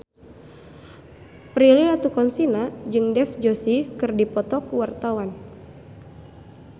Prilly Latuconsina jeung Dev Joshi keur dipoto ku wartawan